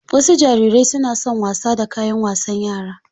Wasu jarirai suna son wasa da kayan wasan yara.